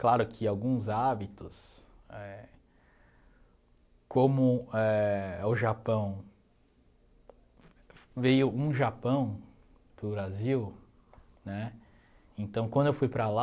Claro que alguns hábitos, éh com éh o Japão, veio um Japão para o Brasil, né, então quando eu fui para lá,